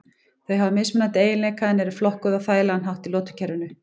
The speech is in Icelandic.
Þau hafa mismunandi eiginleika en eru flokkuð á þægilegan hátt í lotukerfinu.